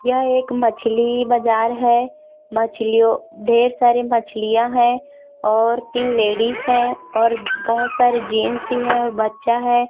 यह एक मछली बजार है। मछलियों ढेर सारे मछलियाँ है और तीन लेडिस है और बहोत सारे जेंट्स भी है और बच्चा है।